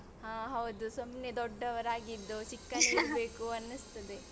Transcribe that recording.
ಹಾ ಹೌದು ಸುಮ್ನೆ ದೊಡ್ಡದವರಾಗಿದ್ದು ಚಿಕ್ಕನೆ ಇರ್ಬೇಕು ಅನ್ನಿಸ್ತದೆ.